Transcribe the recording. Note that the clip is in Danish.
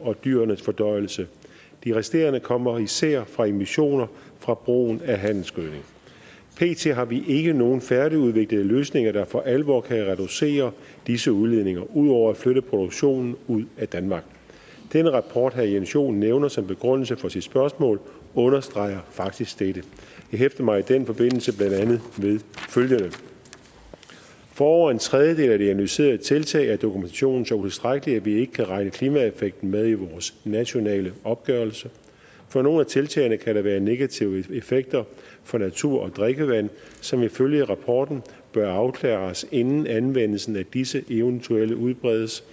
og dyrenes fordøjelse den resterende kommer især fra emissioner fra brugen af handelsgødning pt har vi ikke nogen færdigudviklede løsninger der for alvor kan reducere disse udledninger ud over at flytte produktionen ud af danmark den rapport herre jens joel nævner som begrundelse for sit spørgsmål understreger faktisk dette jeg hæfter mig i den forbindelse blandt andet ved følgende for over en tredjedel af de analyserede tiltag er dokumentationen så utilstrækkelig at vi ikke kan regne klimaeffekten med i vores nationale opgørelse for nogle af tiltagene kan der være negative effekter for natur og drikkevand som ifølge rapporten bør afklares inden anvendelsen af disse eventuelt udbredes